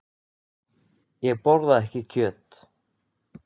Ég borða ekki kjöt.